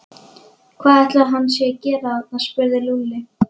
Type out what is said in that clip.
Hvað ætli hann sé að gera þarna? spurði Lúlli.